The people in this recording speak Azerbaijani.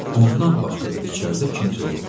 Ondan başqa da içəridə kimsə yoxdu.